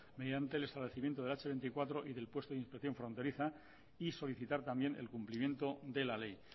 mediante el establecimiento del hache veinticuatro y del puesto de inspección fronteriza y solicitar también el cumplimiento de la ley